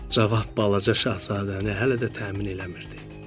Cavab balaca şahzadəni hələ də təmin eləmirdi.